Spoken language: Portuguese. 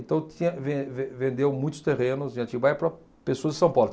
Então tinha ven ven vendeu muitos terrenos de Atibaia para pessoas de São Paulo.